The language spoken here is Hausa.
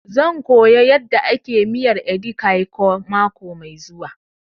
Zan koya yanda ake miyar edi kan ikong mako mai zuwa